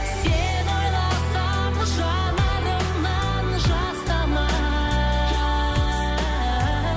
сені ойласам жанарымнан жас тамар